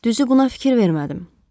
Düzü buna fikir vermədim.